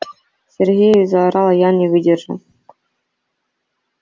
сергею заорала я не выдержав